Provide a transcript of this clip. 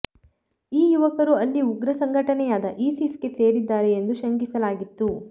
ಈ ಯುವಕರು ಅಲ್ಲಿ ಉಗ್ರ ಸಂಘಟನೆಯಾದ ಇಸಿಸ್ಗೆ ಸೇರಿದ್ದಾರೆ ಎಂದು ಶಂಕಿಸಲಾಗಿತ್ತು